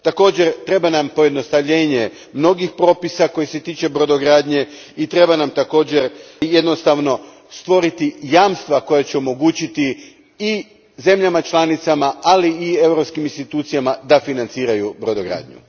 Također, treba nam pojednostavljenje mnogih propisa koji se tiču brodogradnje i treba nam također jednostavno stvoriti jamstva koja će omogućiti i zemljama članicama, ali i europskim institucijama da financiraju brodogradnju.